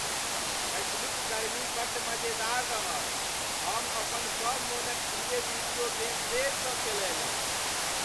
पछिलुक गर्मी बड्ड मजेदार रहल। हम अपन सब मोनक प्रिय वीडियो गेम फेरसँ खेलयलहुँ।